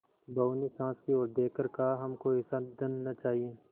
बहू ने सास की ओर देख कर कहाहमको ऐसा धन न चाहिए